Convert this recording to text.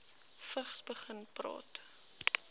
vigs begin praat